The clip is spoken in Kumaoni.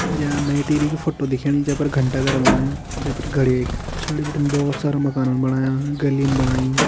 या नई टेहरी की फोटो दिखेणी जे पर घंटा घर बणायु जे पर घड़ीक पिछड़ी बटिन बोहोत सारा माकनन बणाया गलीन बणाई।